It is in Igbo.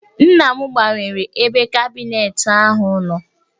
Nna m gbanwere ebe kabineetị ahụ nọ